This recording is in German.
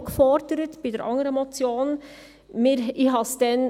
Das haben wir bei der anderen Motion auch gefordert.